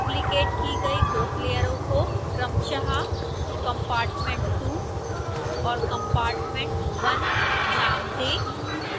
duplicate की गई group लेयरों को क्रमशः compartment2 और compartment1 नाम दें